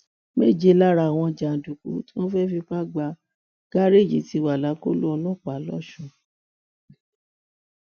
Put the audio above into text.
méje lára àwọn jàǹdùkú tí wọn fẹẹ fipá gbá gárẹẹjì ti wà lákọlò ọlọpàá lọsùn